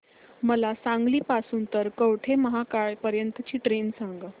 मला सांगली पासून तर कवठेमहांकाळ पर्यंत ची ट्रेन सांगा